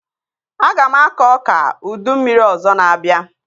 Aga m akọ ọka ụdị mmiri ọzọ na-abịa